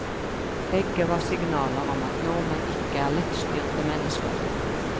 Begge var signaler om at nordmenn ikke er lettstyrte mennesker.